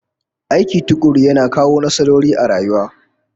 Aiki tukuru yana kawo nasarori a rayuwa